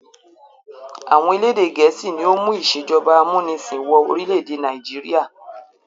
Àwọn elédè Gẹ̀ẹ́sì ni ó mú ìṣèjọba amúnisìn wọ orílẹ̀ èdè Nàìjíríà